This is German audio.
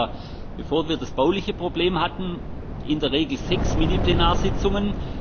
Wir hatten da, bevor wir das bauliche Problem hatten, in der Regel sechs Mini Plenarsitzungen.